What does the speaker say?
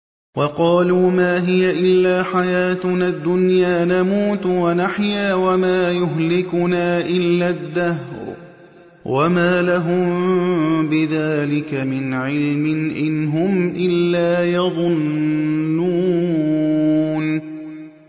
وَقَالُوا مَا هِيَ إِلَّا حَيَاتُنَا الدُّنْيَا نَمُوتُ وَنَحْيَا وَمَا يُهْلِكُنَا إِلَّا الدَّهْرُ ۚ وَمَا لَهُم بِذَٰلِكَ مِنْ عِلْمٍ ۖ إِنْ هُمْ إِلَّا يَظُنُّونَ